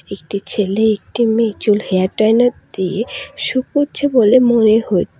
একটি ছেলে একটি মেয়ে চুল হেয়ার ডাইলার দিয়ে শুকোচ্ছে বলে মনে হচ্ছ--